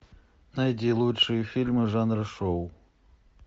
найди лучшие фильмы жанра шоу